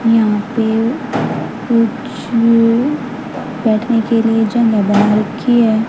यहां पे बैठने के लिए रखी है।